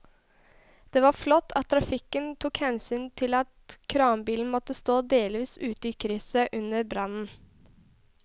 Det var flott at trafikken tok hensyn til at kranbilen måtte stå delvis ute i krysset under brannen.